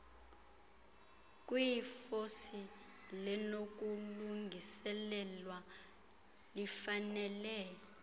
kwiofisi linokulungiselelwa lifanele